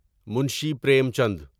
Munshi Premchand